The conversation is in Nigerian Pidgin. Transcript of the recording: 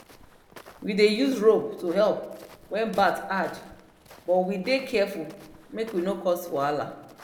we dey use rope to help when birth hard but we dey careful make we no cause wahala